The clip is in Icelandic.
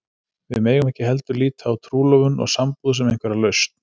Við megum ekki heldur líta á trúlofun og sambúð sem einhverja lausn.